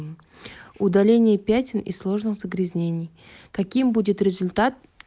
удаление пятен и сложных загрязнений каким будет результат